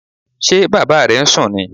Ṣé Bàbá rẹ̀ ń sún nì?